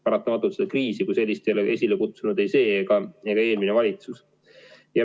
Seda kriisi ei ole esile kutsunud ei see ega eelmine valitsus.